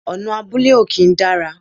Ọ̀nà abúlé ò kí ń dára